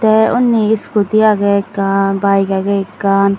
te unni iskuti age ekkan baek age ekkan.